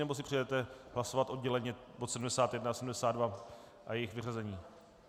Nebo si přejete hlasovat odděleně bod 71 a 72 a jejich vyřazení?